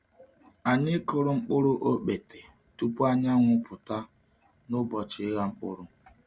Anyị kụrụ mkpụrụ ọkpete tupu anyanwụ pụta n’ụbọchị ịgha mkpụrụ.